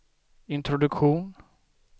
introduktion